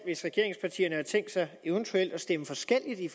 hvis regeringspartierne har tænkt sig eventuelt at stemme forskelligt i